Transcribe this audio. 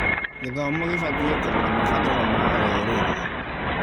Gĩthomo gĩbatiĩ kũrora mabataro ma rũrĩrĩ.